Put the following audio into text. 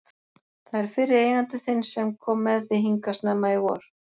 Það er fyrri eigandi þinn sem kom með þig hingað snemma í vor.